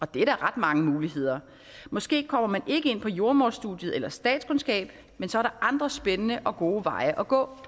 giver da ret mange muligheder måske kommer man ikke ind på jordemoderstudiet eller statskundskabsstudiet men så er der andre spændende og gode veje at gå